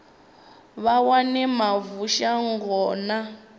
vha wane mavu shango na